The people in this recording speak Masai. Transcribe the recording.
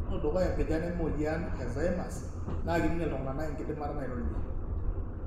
tenelo dukuya empijan emoyian e Alzcheimers, na kiminie iltungana enkiadimata nairorie.